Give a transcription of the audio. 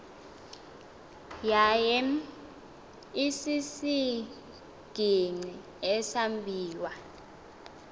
yaye isisigingqi esambiwa